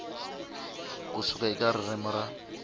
ku suka eka ririmi ra